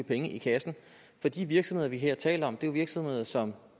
penge i kassen for de virksomheder vi her taler om er jo virksomheder som